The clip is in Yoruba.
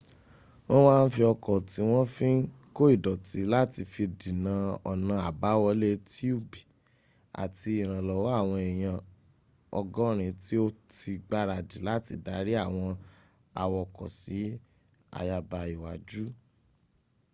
wọ́n m a n fi ọkọ̀ ti won fi n ko ìdọ̀tí láti fi dína ọ̀nà abáwọlé tiubi àti ìrànlọ́wọ́ awon eyan 80 ti o ti gbaradi láti dari àwọn awokọ̀ si àyàbá iwájú